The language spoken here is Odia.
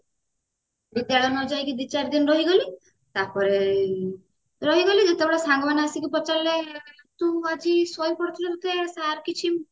ବିଦ୍ୟାଳୟ ନ ଯାଇକି ଦି ଚାରିଦିନ ରହିଗଲି ତାପରେ ରହିଗଲି ଯେତେବେଳେ ସାଙ୍ଗମାନେ ଆସିକି ପଚାରିଲେ ତୁ ଆଜି ସୋଇ ପଡିଥିଲୁ ତତେ sir କିଛି